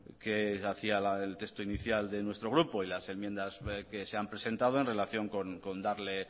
que hacía la del texto inicial de nuestro grupo y las enmiendas que se han presentado en relación con darle